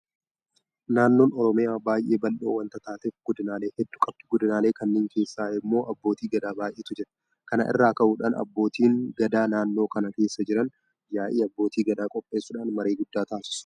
Naannoon Oromiyaa baay'ee bal'oo waanta taateef godinaalee hedduu qabdi. Godinaalee kana keessa immoo abbootii Gadaa baay'eetu jira. Kana irraa ka'uudhaan abbootiin gadaa naannoo kana keessa jiran yaa'ii abbootii Gadaa qopheessuudhaan marii guddaa taasisu.